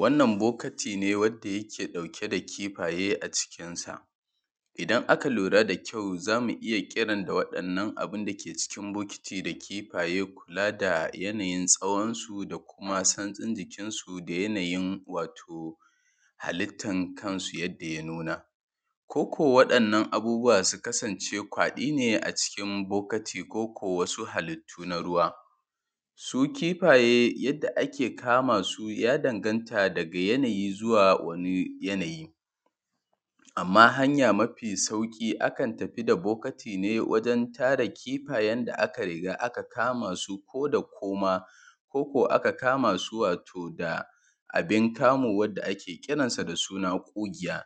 Wannan bokati ne wadda yake ɗauke da kifaye a cikinsa. Idan aka lura da kyau zamu iya kiran wannan abu dake cikin bokati da kifaye kula da yanayin tsawonsu da kuma santsin jikinsu da yana yin wato halittan kansu yadda ya nuna. Ko kuwa wannan abubuwa su kasance kwaƙi ne a cikin bokati koko wasu halittu na ruwa. Su kifaye yadda ake kamasu ya danganta daga yana yi zuwa wani yanayi, amma hanya mafi sauki akan tafi da bokati ne wajen tara kifayen da aka riga aka kamasu ko da koma, koko aka kamasu wato da abin kamu wanda ake kiransa da suna ƙugiya.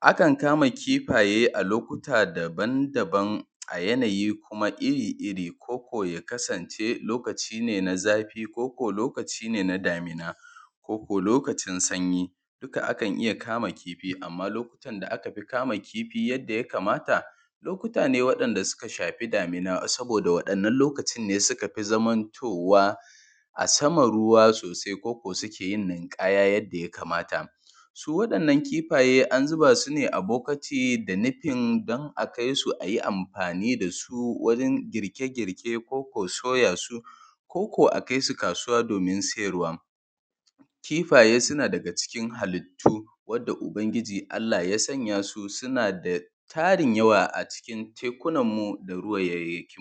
Akan kama kifaye a lokuta dabam-dabam a yanayi kuma iri-iri koko ya kasance lokaci ne na zafi, koko lokaci ne na damina, koko lokacin sanyi, duka akan iya kama kifi, amma lokutan da aka fi kama kifi yadda ya kamata lokuta ne wadda suka shafi damina, saboda wadannan lokacin ne suka fi zamantowa a saman ruwa sosai, koko suke yin ninkaya yadda ya kamata. Su waɗannan kifaye an zuba su ne a bokati da nufin don a kaisu ayi amfani dasu wajen girke-girke, koko soyasu, koko a kaisu kasuwa domin siyarwa. Kifaye suna daga cikin halitu wanda ubangiji Allah ya sanya su suna da tarin yawa a cikin tekunanmu da ruwaiwakin mu.